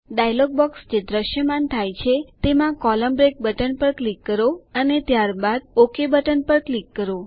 dialog box જે દ્રશ્યમાન થાય છે તેમાં કોલમ્ન બ્રેક બટન પર ક્લિક કરો અને ત્યારબાદ ક્લિક કરો ઓક બટન પર ક્લિક કરો